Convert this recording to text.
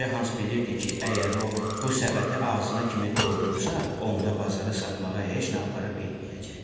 Balaca Hans bilirdi ki, əgər o bu səbəti ağzına kimi doldursa, onda bazara satmağa heç nə apara bilməyəcək.